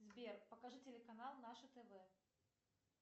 сбер покажи телеканал наше тв